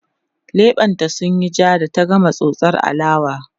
leɓen ta sunyi jaa da ta gama tsotsar alewa